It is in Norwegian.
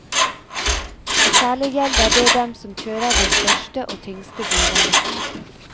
Og særlig gjelder det dem som kjører de største og tyngste bilene.